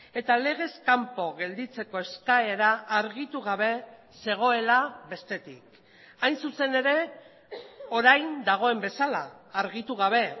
eta legez kanpo gelditzeko eskaera argitu gabe zegoela bestetik hain zuzen ere orain dagoen bezala argitu gabe